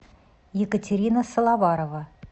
екатерина саловарова